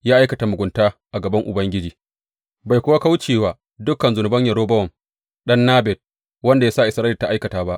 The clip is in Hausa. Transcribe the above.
Ya aikata mugunta a gaban Ubangiji bai kuwa kauce wa duk zunuban Yerobowam ɗan Nebat, wanda ya sa Isra’ila ta aikata ba.